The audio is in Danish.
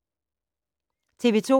TV 2